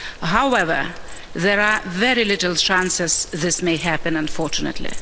However, there are very little chances this may happen unfortunately.